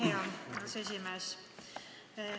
Aitäh, hea aseesimees!